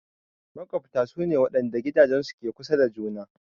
Maƙwabta su ne waɗanda gidajensu ke kusa da juna.